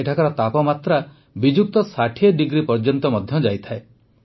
ଏଠାକାର ତାପମାତ୍ରା ବିଯୁକ୍ତ ୬୦ ଡିଗ୍ରୀ ପର୍ଯ୍ୟନ୍ତ ମଧ୍ୟ ଯାଇଥାଏ